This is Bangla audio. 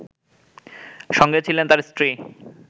সঙ্গে ছিলেন তার স্ত্রী